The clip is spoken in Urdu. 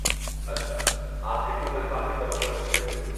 اچھا۔ آپ کتنی تنخواہ کی توقع رکھتی ہیں؟